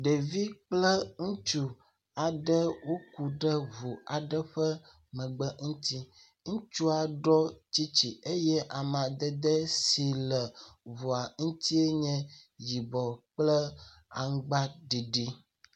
Ɖevi kple ŋutsu aɖe woku ɖe ŋu aɖe ƒe megbe ŋuti. Ŋutsua ɖɔ tsitsi eye amadede si ŋua ŋutie nye yibɔ kple aŋgba ɖiɖi.